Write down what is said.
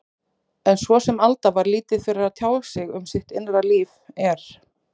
En svo sem Alda var lítið fyrir að tjá sig um sitt innra líf, er